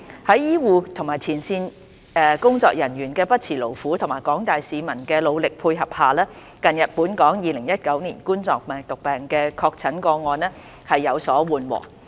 在醫護及前線工作人員的不辭勞苦和廣大市民的努力配合下，近日本港2019冠狀病毒病的確診個案增長速度有所緩和。